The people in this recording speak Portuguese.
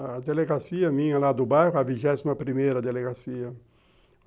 A delegacia minha lá do bairro, a vigésima primeira delegacia.